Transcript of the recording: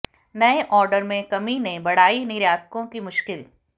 नए ऑर्डर में कमी ने बढ़ाई निर्यातकों की मुश्किल